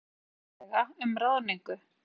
Segir sátt nauðsynlega um ráðningu